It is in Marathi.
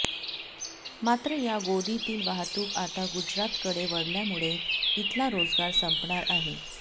मात्र या गोदीतील वाहतूक आता गुजरातकडे वळल्यामुळे इथला रोजगार संपणार आहे